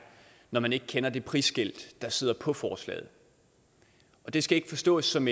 når man ikke kender det prisskilt der sidder på forslaget det skal ikke forstås som